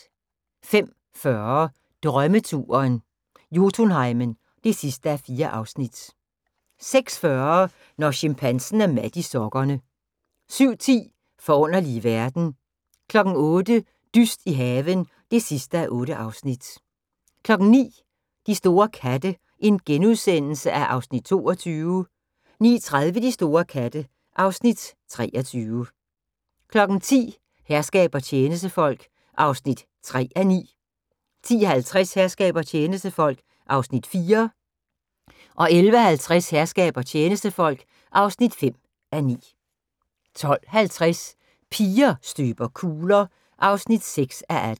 05:40: Drømmeturen - Jotunheimen (4:4) 06:40: Når chimpansen er mat i sokkerne 07:10: Forunderlige verden 08:00: Dyst i haven (8:8) 09:00: De store katte (Afs. 22)* 09:30: De store katte (Afs. 23) 10:00: Herskab og tjenestefolk (3:9) 10:50: Herskab og tjenestefolk (4:9) 11:50: Herskab og tjenestefolk (5:9) 12:50: Piger støber kugler (6:18)